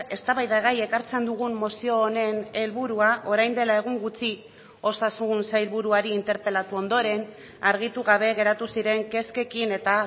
eztabaidagai ekartzen dugun mozio honen helburua orain dela egun gutxi osasun sailburuari interpelatu ondoren argitu gabe geratu ziren kezkekin eta